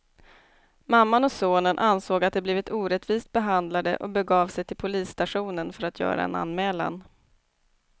Mamman och sonen ansåg att de blivit orättvist behandlade och begav de sig till polisstationen för att göra en anmälan.